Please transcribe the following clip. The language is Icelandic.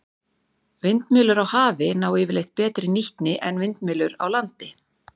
Vindmyllur á hafi ná yfirleitt betri nýtni en vindmyllur á landi.